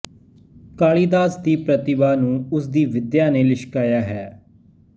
ਕਾਲੀ ਦਾਸ ਦੀ ਪ੍ਰਤਿਭਾ ਨੁੂੰ ਉਸ ਦੀ ਵਿਦਿਆ ਨੇ ਲਿਸ਼ਕਾਇਆ ਹੈ